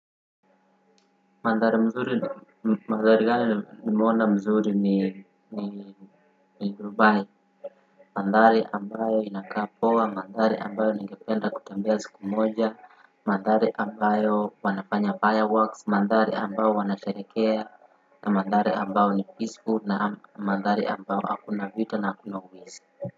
Mandhari mzuri mandhari hayo nimeona ni ni Dubai, mandhari ambayo inakaa poa, mandhari ambayo ningependa kutembia siku moja, mandhari ambayo wanafanya fireworks, mandhari ambayo wanasherehekea, mandhari ambayo ni peaceful na mandhari ambayo hakuna vita na hakuna wizi.